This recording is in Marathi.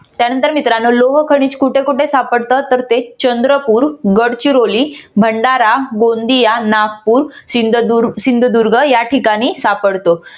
त्यानंतर मित्रांनो लोहखनिज कुठे कुठे सापडत? तर ते चंद्रपूर, गडचिरोली, भंडारा, गोंदिया, नागपूर, सिंधुदुर्ग या ठिकाणी सापडत.